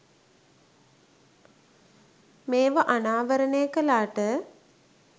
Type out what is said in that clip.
මේව අනාවරනය කලාට